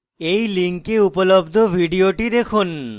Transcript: এই লিঙ্কে উপলব্ধ video দেখুন